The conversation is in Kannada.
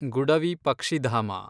ಗುಡವಿ ಪಕ್ಷಿಧಾಮ